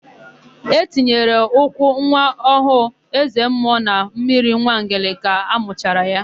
E tinyere ụkwụ nwa ọhụụ eze mmụọ na mmiri Nwangele ka amụchara ya.